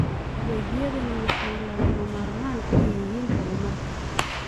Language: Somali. Adeegyadani waxay lagama maarmaan u yihiin horumarka.